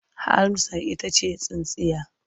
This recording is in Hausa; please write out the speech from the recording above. Amsar ita ce tsintsiya.